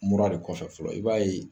Mura de kɔfɛ fɔlɔ i b'a ye